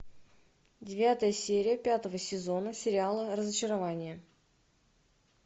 девятая серия пятого сезона сериала разочарование